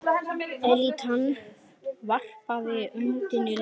Elítan varpaði öndinni léttar.